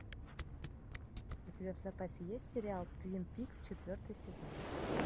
у тебя в запасе есть сериал твин пикс четвертый сезон